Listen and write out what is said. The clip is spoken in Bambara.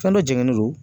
Fɛn dɔ jenen do